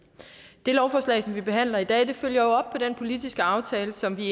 det lovforslag som vi behandler i dag følger op på den politiske aftale som vi